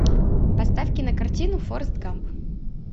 поставь кинокартину форест гамп